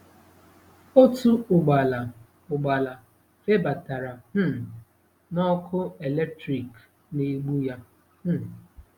Otu ụgbala ụgbala febatara um n'ọkụ eletrik na-egbu ya. um